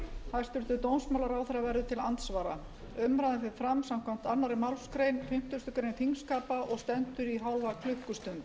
hæstvirtur dómsmálaráðherra verður til andsvara umræðan fer fram samkvæmt annarri málsgrein fimmtugustu grein þingskapa og stendur í hálfa klukkustund